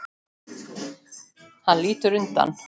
Hann lítur undan.